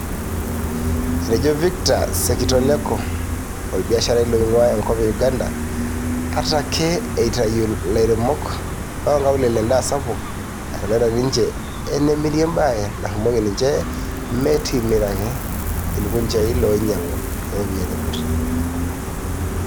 Etejo Victor Sekitoleko, olbiasharai loingua enkop e Uganda, ata ake eitayu lairemok loonkaulele endaa sapuk, etalaita ninje enemiria embaaye narumoki ninje metimirake ilkunjai looinyiangu tooropiyiani kutii.